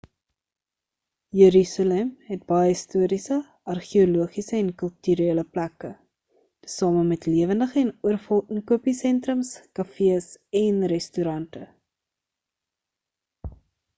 jerusalem het baie historiese argeologiese en kulturele plekke tesame met lewendige en oorvol inkopiesentrums kafees en restaurante